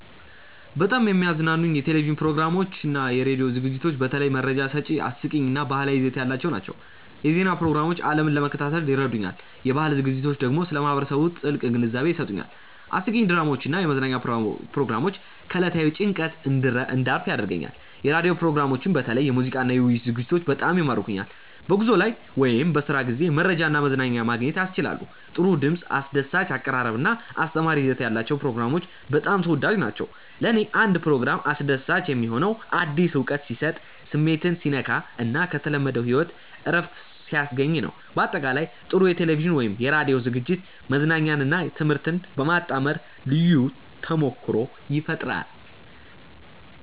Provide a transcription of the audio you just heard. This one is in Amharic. በጣም የሚያዝናኑኝ የቴሌቪዥን ፕሮግራሞችና የራዲዮ ዝግጅቶች በተለይ መረጃ ሰጪ፣ አስቂኝ እና ባህላዊ ይዘት ያላቸው ናቸው። የዜና ፕሮግራሞች ዓለምን ለመከታተል ይረዱኛል፣ የባህል ዝግጅቶች ደግሞ ስለ ማህበረሰብ ጥልቅ ግንዛቤ ይሰጡኛል። አስቂኝ ድራማዎች እና የመዝናኛ ፕሮግራሞች ከዕለታዊ ጭንቀት እንድረፍ ያደርጉኛል። የራዲዮ ፕሮግራሞችም በተለይ የሙዚቃና የውይይት ዝግጅቶች በጣም ይማርኩኛል። በጉዞ ላይ ወይም በስራ ጊዜ መረጃና መዝናኛ ማግኘት ያስችላሉ። ጥሩ ድምፅ፣ አስደሳች አቀራረብ እና አስተማሪ ይዘት ያላቸው ፕሮግራሞች በጣም ተወዳጅ ናቸው። ለእኔ አንድ ፕሮግራም አስደሳች የሚሆነው አዲስ እውቀት ሲሰጥ፣ ስሜትን ሲነካ እና ከተለመደው ሕይወት እረፍት ሲያስገኝ ነው። በአጠቃላይ፣ ጥሩ የቴሌቪዥን ወይም የራዲዮ ዝግጅት መዝናኛንና ትምህርትን በማጣመር ልዩ ተሞክሮ ይፈጥራል